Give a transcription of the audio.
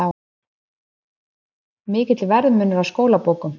Mikill verðmunur á skólabókum